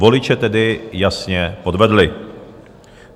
Voliče tedy jasně podvedly.